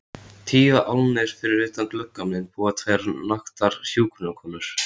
Tíu álnir fyrir utan gluggann minn búa tvær naktar hjúkrunarkonur.